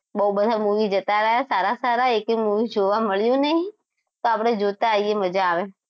બહુ બધા movie જતા રહ્યા સારા સારા એકેય movie જોવા મળ્યું નહીં તો આપણે જોતા આઈયે મજા આવે